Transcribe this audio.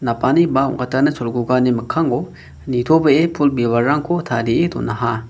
napani ba ong·katana cholgugani mikkango nitobee pul bibalrangko tarie donaha.